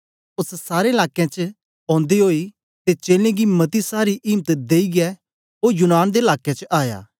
ओस सारे लाकें च ओदे ओई ते चेलें गी मती सारी इम्त देईयै ओ यूनान दे लाके च आया